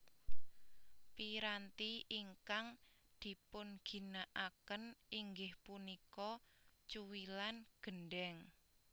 Piranti ingkang dipunginakaken inggih punika cuwilan gendhèng